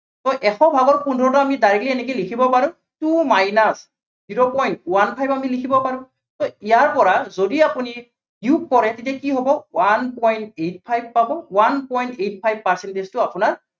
so এশ ভাগৰ পোন্ধৰটো আমি directly এনেকে লিখিব পাৰো। two minus zero point one five আমি লিখিব পাৰো। so ইয়াৰ পৰা যদি আপুনি বিয়োগ কৰে, তেতিয়া কি হব one point eight five পাব, one point eight five percentage টো আপোনাৰ